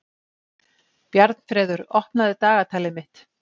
Bjarnfreður, opnaðu dagatalið mitt.